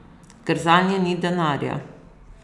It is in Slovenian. Ker zanje ni denarja.